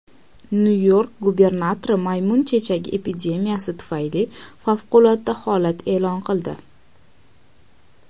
Nyu-York gubernatori maymun chechagi epidemiyasi tufayli favqulodda holat e’lon qildi.